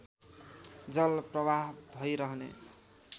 जल प्रवाह भइरहने